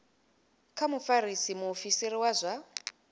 kha mufarisa muofisiri wa zwa